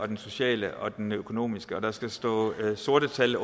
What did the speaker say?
den sociale og den økonomiske og der skal stå sorte tal